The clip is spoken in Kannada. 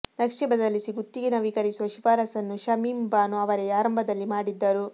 ನಕ್ಷೆ ಬದಲಿಸಿ ಗುತ್ತಿಗೆ ನವೀಕರಿಸುವ ಶಿಫಾರಸನ್ನು ಶಮೀಂ ಬಾನು ಅವರೇ ಆರಂಭದಲ್ಲಿ ಮಾಡಿದ್ದರು